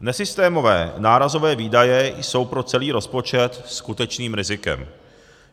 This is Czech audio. Nesystémové nárazové výdaje jsou pro celý rozpočet skutečným rizikem.